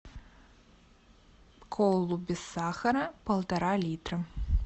колу без сахара полтора литра